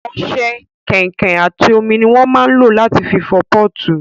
Ọṣẹ, kọ̀ìnkọ̀ìn àti omi ni wón máa ń lò láti fọ pọ́ọ̀tù